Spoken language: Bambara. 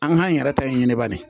An k'an yɛrɛ ta in ɲini bani